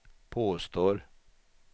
påstår